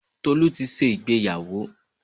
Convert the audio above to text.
Tolú ti ṣe ìgbéyàwó.